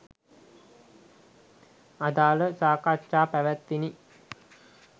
අදාළ සාකච්ඡා පැවත්විණි